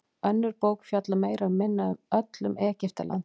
önnur bók fjallar meira og minna öll um egyptaland